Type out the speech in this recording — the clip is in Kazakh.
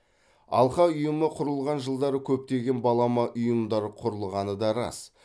алқа ұйымы құрылған жылдары көптеген балама ұйымдар құрылғаны да рас